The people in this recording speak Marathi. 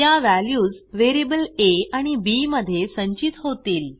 त्या व्हॅल्यूज व्हेरिएबल आ आणि बी मध्ये संचित होतील